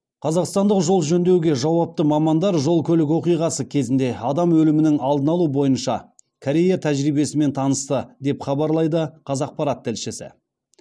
қазақстандық жол жөндеуге жауапты мамандар жол көлік оқиғасы кезінде адам өлімінің алдын алу бойынша корея тәжірибесімен танысты деп хабарлайды қазақпарат тілшісі